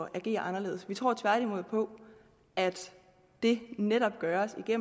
agere anderledes vi tror tværtimod på at det netop gøres ved